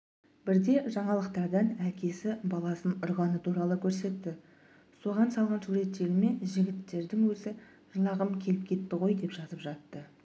бірде жаңалықтардан әкесі баласын ұрғаны туралы көрсетті соған салған суретіме жігіттердің өзі жылағым келіп кетті ғой деп жазып жатты